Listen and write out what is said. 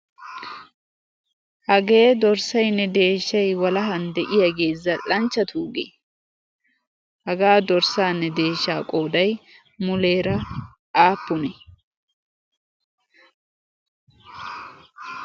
hagee dorssaynne deeshshay walahan de'iyaagee zal"anchchatuugee hagaa dorssaanne deeshsha qooday muleera aappune?